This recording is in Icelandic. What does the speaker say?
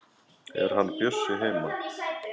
Er hann Bjössi heima?